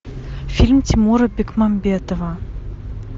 фильм тимура бекмамбетова